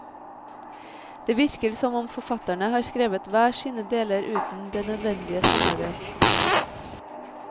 Det virker som om forfatterne har skrevet hver sine deler uten det nødvendige samarbeid.